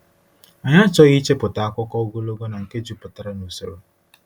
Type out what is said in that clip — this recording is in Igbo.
Anyị achọghị ichepụta akụkọ ogologo na nke jupụtara n’usoro.